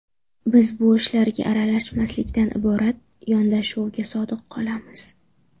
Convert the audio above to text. Biz bu ishlarga aralashmaslikdan iborat yondashuvga sodiq qolamiz.